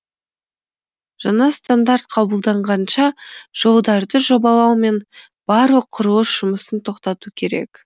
жаңа стандарт қабылданғанша жолдарды жобалау мен барлық құрылыс жұмысын тоқтату керек